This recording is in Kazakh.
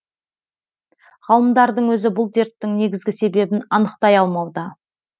ғалымдардың өзі бұл дерттің негізгі себебін анықтай алмауда